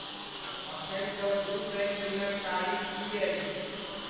अखनि सॅ दू शनि दिनक तारीख की अछि?